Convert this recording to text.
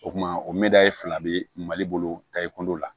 O kuma o meda ye fila bɛ mali bolo ta i kundo la